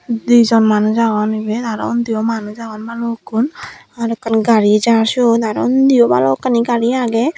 di jon manuj agon iben aro undiyo manuj agon bhalukkun ar ekkan gari jar sot aro undiyo bhalokkani gari agey.